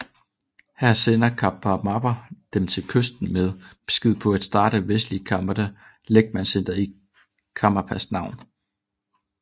Her sendte Karmapa dem til Vesten med besked på at starte vestlige Karma Kadjy lægmandscentre i Karmapas navn